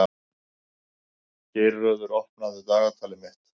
Geirröður, opnaðu dagatalið mitt.